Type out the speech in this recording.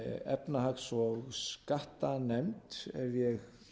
efnahags og skattanefnd ef ég